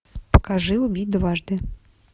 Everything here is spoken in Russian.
покажи убить дважды